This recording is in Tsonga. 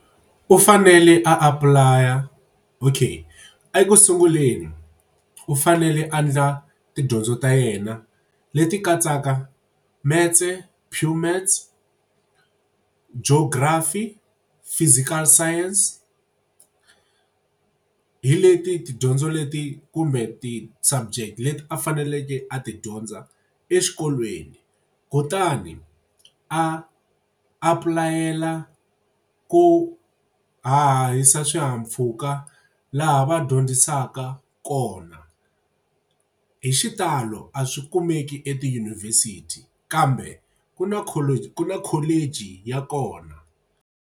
U fanele a apply-a okay eku sunguleni u fanele a ndla tidyondzo ta yena leti katsaka metse, pure maths, geography, physical science hi leti tidyondzo leti kumbe ti-subject leti a faneleke a ti dyondza exikolweni kutani a applay-ela ku hahahisa swihahampfhuka laha va dyondzisaka kona hi xitalo a swi kumeki etidyunivhesiti kambe ku na ku na college ya kona.